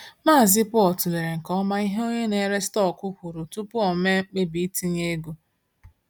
Mazị Paul tụlere nke ọma ihe onye na-ere stọkụ kwuru tupu o mee mkpebi itinye ego.